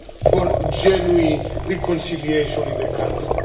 for genuine reconciliation in the country.